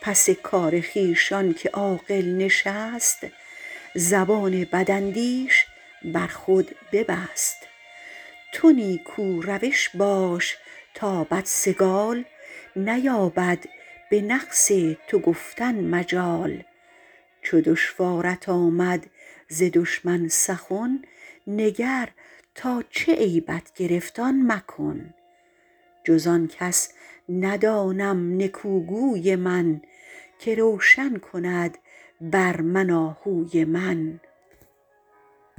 پس کار خویش آنکه عاقل نشست زبان بداندیش بر خود ببست تو نیکو روش باش تا بدسگال نیابد به نقص تو گفتن مجال چو دشوارت آمد ز دشمن سخن نگر تا چه عیبت گرفت آن مکن جز آن کس ندانم نکو گوی من که روشن کند بر من آهوی من